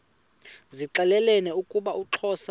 zixelelana ukuba uxhosa